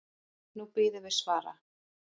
Nú bíðum við svara.